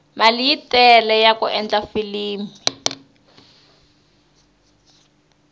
mali yi tele yaku endla filimi